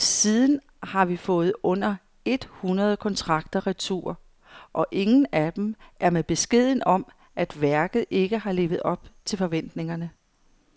Siden har vi fået under et hundrede kontrakter retur, og ingen af dem er med beskeden om, at værket ikke har levet op til forventningerne.